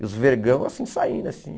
E os vergão assim saindo assim.